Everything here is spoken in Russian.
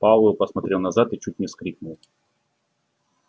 пауэлл посмотрел назад и чуть не вскрикнул